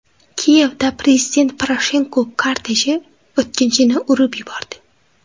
Kiyevda prezident Poroshenko korteji o‘tkinchini urib yubordi.